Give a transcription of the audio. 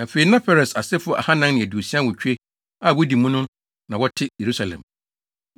Afei, na Peres asefo ahannan ne aduosia awotwe (468) a wodi mu no na na wɔte Yerusalem.